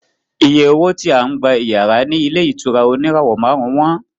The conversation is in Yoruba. Iye owó tí à ń gba iyàrá ní ilé ìtura oníràwọ̀ márùn-ún wọ́n